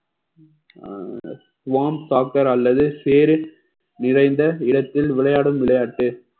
swarm soccer அல்லது சேரி நிறைந்த இடத்தில் விளையாடும் விளையாட்டு